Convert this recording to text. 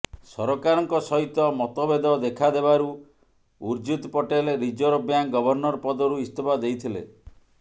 ସରକାରଙ୍କ ସହିତ ମତଭେଦ ଦେଖାଦେବାରୁ Urjit Patel reserve bank governor ପଦରୁ ଇସ୍ତଫା ଦେଇଥିଲେ